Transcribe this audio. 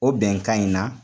O bɛnka in na